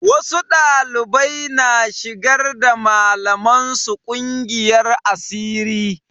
Wasu ɗaliban na shigar da malaman su ƙungiyar asiri.